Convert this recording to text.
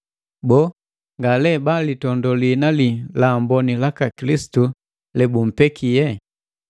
Boo nga lee ba bilitondo liina li laamboni laka Kilisitu lebumpekie?